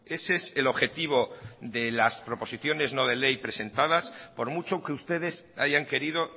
ese es el objetivo de las proposiciones no de ley presentadas por mucho que ustedes hayan querido